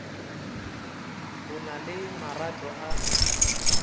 o na le marato a